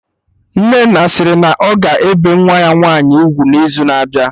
Nnenna sịrị na ọ ga-ebe nwa ya nwaanyị ugwu n'izu na-abịa